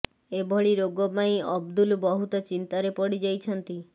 ଏଭଳି ରୋଗ ପାଇଁ ଅବଦୁଲ ବହୁତ ଚିନ୍ତାରେ ପଡ଼ି ଯାଇଛନ୍ତି